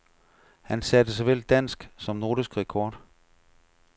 Han satte såvel dansk som nordisk rekord.